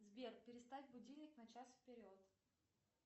сбер переставь будильник на час вперед